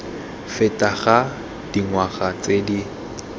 feta ga dingwaga tse di